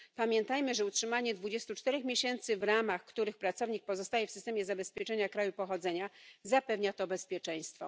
Pamiętajmy, że utrzymanie 24 miesięcy, w ramach których pracownik pozostaje w systemie zabezpieczenia kraju pochodzenia, zapewnia to bezpieczeństwo.